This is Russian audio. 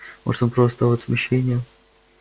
может он просто от смущения